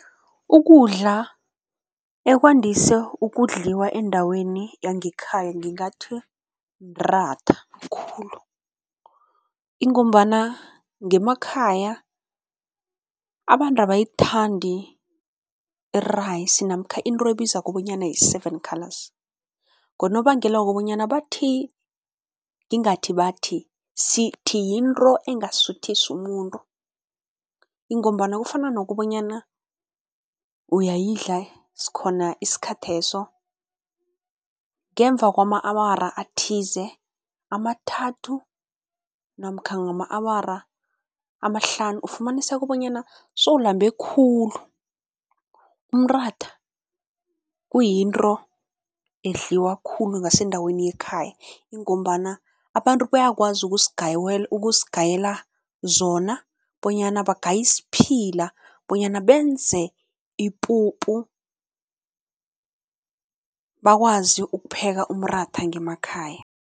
Ukudla ekwandise ukudliwa endaweni yangekhaya ngingathi mratha khulu ingombana ngemakhaya abantu abayithandi i-rice namkha into ebizwako bonyana yi-seven colours ngonobangela wokobanyana bathi, ngingathi bathi, sithi yinto engasuthisi umuntu ingombana kufana nokobanyana uyayidla khona isikhatheso, ngemva kwama-awara athize, amathathu namkha ngama-awara amahlanu ufumaniseka bonyana sewulambe khulu. Umratha kuyinto edliwa khulu ngasendaweni ekhaya ingombana abantu bayakwazi ukusigayela zona bonyana bangaye isiphila bonyana benze ipuphu, bakwazi ukupheka umratha ngemakhaya.